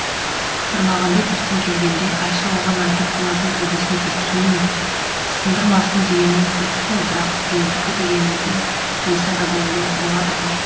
бірмағамбет ертең келгенде айша оған айтып бұлардың төбесін тестірмей ме сындырмасын дегеніңіз дұрыс қой бірақ біреудікі дегенді қойса да болады ғой